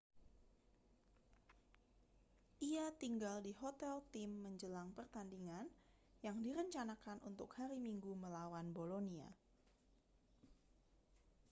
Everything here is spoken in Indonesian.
ia tinggal di hotel tim menjelang pertandingan yang direncanakan untuk hari minggu melawan bolonia